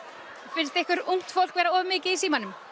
finnst ykkur ungt fólk vera of mikið í símanum